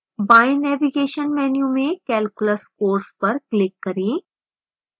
बाएं navigation menu में calculus course पर click करें